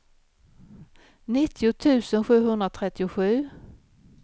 nittio tusen sjuhundratrettiosju